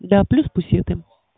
да плюс пусеты